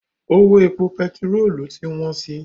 Owó epo pẹtirolu ti wọ́n si.